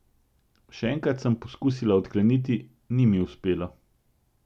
Še enkrat sem poskusila odkleniti, ni mi uspelo.